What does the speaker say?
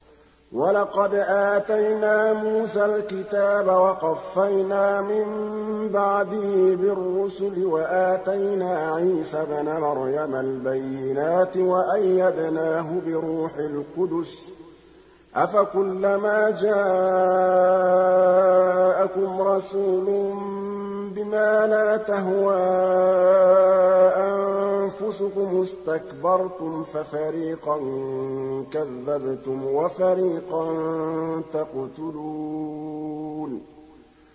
وَلَقَدْ آتَيْنَا مُوسَى الْكِتَابَ وَقَفَّيْنَا مِن بَعْدِهِ بِالرُّسُلِ ۖ وَآتَيْنَا عِيسَى ابْنَ مَرْيَمَ الْبَيِّنَاتِ وَأَيَّدْنَاهُ بِرُوحِ الْقُدُسِ ۗ أَفَكُلَّمَا جَاءَكُمْ رَسُولٌ بِمَا لَا تَهْوَىٰ أَنفُسُكُمُ اسْتَكْبَرْتُمْ فَفَرِيقًا كَذَّبْتُمْ وَفَرِيقًا تَقْتُلُونَ